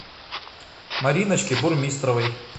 мариночке бурмистровой